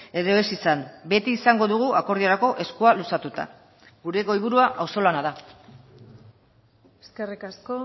edo ez izan beti izango dugu akordiorako eskua luzatuta gure goiburua auzo lana da eskerrik asko